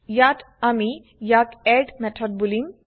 ইয়াত আমি ইয়াক এড মেথড বুলিম